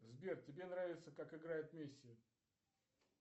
сбер тебе нравится как играет месси